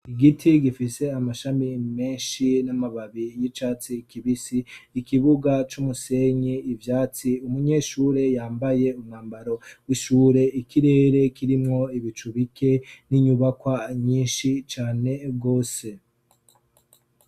Igiti gifise amashami menshi n'amababi y'icatsi kibisi, ikibuga c'umusenyi, ivyatsi, umunyeshure yambaye umwambaro w'ishure, ikirere kirimwo ibicu bike n'inyubakwa nyinshi cane gose.